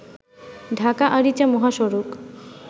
ঢাকা আরিচা মহাসড়ক